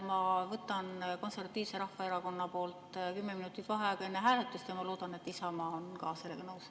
Ma võtan Konservatiivse Rahvaerakonna poolt 10 minutit vaheaega enne hääletust ja loodan, et Isamaa on ka sellega nõus.